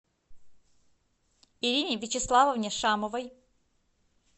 ирине вячеславовне шамовой